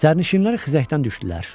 Sərnişinlər xizəkdən düşdülər.